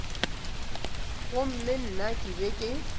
gomme nna ke be ke